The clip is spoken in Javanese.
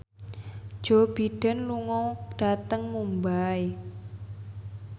Joe Biden lunga dhateng Mumbai